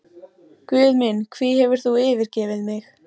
Guð minn, hví hefur þú yfirgefið mig?